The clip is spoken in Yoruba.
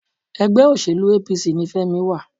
ẹgbẹ́ òṣèlú APC ní Femi wà.